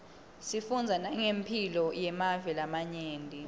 sifundza nangemphilo yemave lamanye